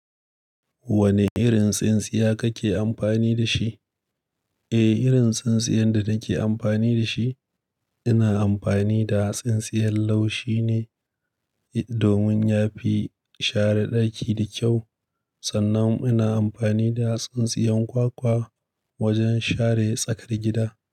Wane irin tsintsiya kake amfani da shi? Eh, irin tsintsiyar da nake amfani da shi, ina amfani da tsintsiyar laushi ne domin ya fi sha're ɗaki da kyau. Sannan ina amfani da tsintsiyar kwakwa wajen share tsakar gida.